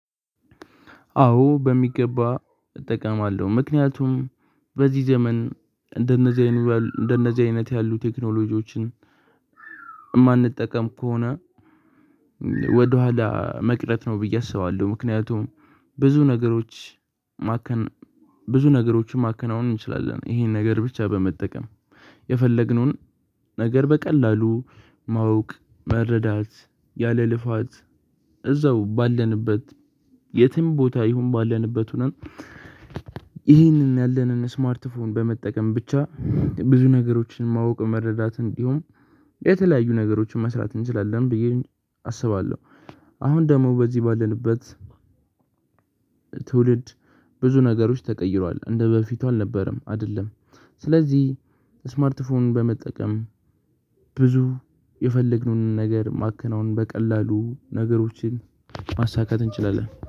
አዎ በሚገባ እጠቀማለሁ ምክንያቱም በዚህ ዘመን እንደነዚህ ያሉ እንደነዚህ አይነት ያሉ ቴክኖሎጂዎችን የማንጠቀም ከሆነ ወደኋላ መቅረት ነው ብዬ አስባለሁ። ምክንያቱም ብዙ ነገሮች ማከን ብዙ ነገሮችን ማከናወን እንችላለን። ይሄን ነገር ብቻ በመጠቀም የፈለግነውን ነገር በቀላሉ ማወቅ መረዳት ያለ ልፋት እዛው ባለንበት የትም ቦታ ይሁን ባለንበት ሆነን። ይህንን ያለንን ስማርት ፎን በመጠቀም ብቻ ብዙ ነገሮችን ማወቅ መረዳት እንዲሁም የተለያዩ ነገሮችን መስራት እንችላለን ብዬ አስባለሁ። አሁን ደግሞ በዚህ ባለንበት ትውልድ ብዙ ነገሮች ተቀይሯል እንደበፊቱ አልነበረም አይደለም። ስለዚህ ስማርት ፎንን በመጠቀም ብዙ የፈለግነውን ነገር ማከናወን በቀላሉ ነገሮችን ማሳካት እንችላለን